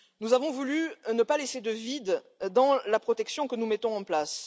Nous avons voulu ne pas laisser de vide dans la protection que nous mettons en place.